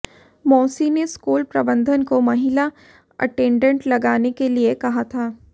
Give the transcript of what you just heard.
मौसी ने स्कूल प्रबंधन को महिला अटेंडेंट लगाने के लिए कहा था